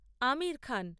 Aamir Khan